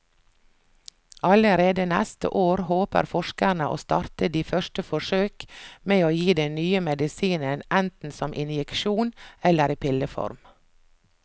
Allerede neste år håper forskerne å starte de første forsøk med å gi den nye medisinen enten som injeksjon eller i pilleform.